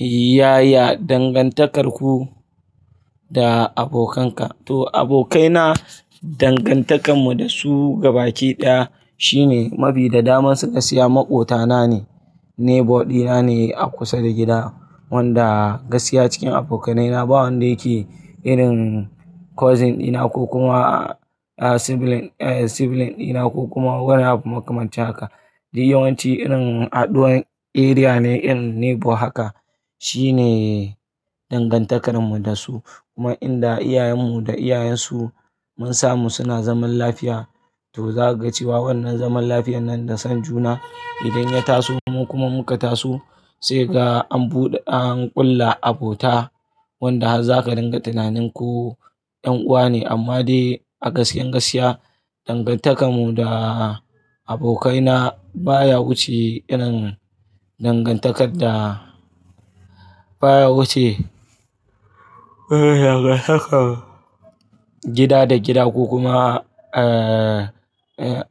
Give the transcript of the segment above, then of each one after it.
Yaya dangantakarku da abokanka? To abokaina dangantakarmu da su gabaki ɗaya shine mafi da daman su gaskiya maƙwabtana ne, neighbor dina ne a kusa da gida wanda gaskiya cikin abokaina ba wanda yake irin cousin dina ko kuma sibling sibling dina ko kuma wani abu makamanta haka. Duk yawanci irin aduwan area ne irin neighbor haka shine dangantakarmu da su. Kuma inda iyayen mu da iyayen su mun samu suna zaman lafiya to zaka ga cewa wannan zaman lafiyar nan da son juna idan ya taso mu kuma muka taso sai ga an buɗe an ƙulla abota wanda har za ka ringa tunanin ko ƴan uwa ne amma dai a gaske gaskiya dangantakar mu da abokaina baya wuce irin dangantakar da baya wuce gida da gida ko kuma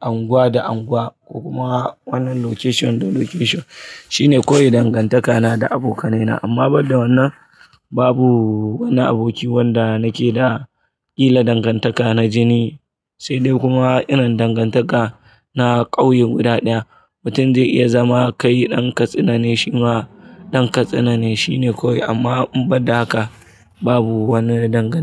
anguwa da anguwa ko kuma wannan location da location shine koyi dangantakana da abokanaina amma banda wannan babu wani aboki wanda nake da ƙila dangantaka na jini, sai dai kuma irin dangantaka na ƙauyen guda ɗaya mutum zai iya zama kai ɗan katsina ne shi ma ɗan katsina ne shine kawai amma banda haka babu wani dangantaka.